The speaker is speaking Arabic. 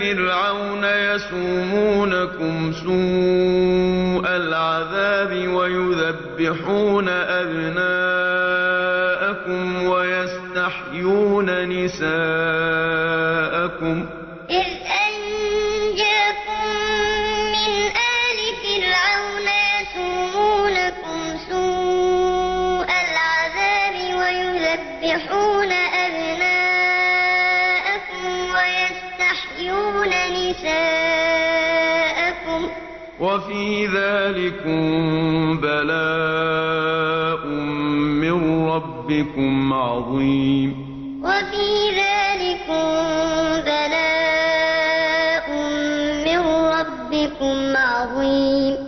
فِرْعَوْنَ يَسُومُونَكُمْ سُوءَ الْعَذَابِ وَيُذَبِّحُونَ أَبْنَاءَكُمْ وَيَسْتَحْيُونَ نِسَاءَكُمْ ۚ وَفِي ذَٰلِكُم بَلَاءٌ مِّن رَّبِّكُمْ عَظِيمٌ وَإِذْ قَالَ مُوسَىٰ لِقَوْمِهِ اذْكُرُوا نِعْمَةَ اللَّهِ عَلَيْكُمْ إِذْ أَنجَاكُم مِّنْ آلِ فِرْعَوْنَ يَسُومُونَكُمْ سُوءَ الْعَذَابِ وَيُذَبِّحُونَ أَبْنَاءَكُمْ وَيَسْتَحْيُونَ نِسَاءَكُمْ ۚ وَفِي ذَٰلِكُم بَلَاءٌ مِّن رَّبِّكُمْ عَظِيمٌ